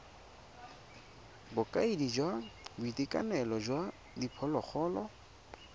bokaedi jwa boitekanelo jwa diphologolo